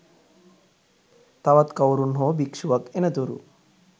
තවත් කවුරුන් හෝ භික්ෂුවක් එනතුරු